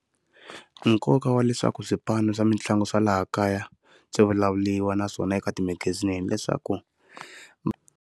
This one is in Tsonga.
Nkoka wa leswaku swipano swa mitlangu swa laha kaya swivulavuriwa naswona eka timagazini leswaku.